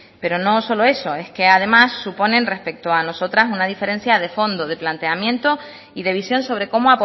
pero no solo eso es que además suponen respecto a nosotras una diferencia de fondo de planteamiento y de visión sobre cómo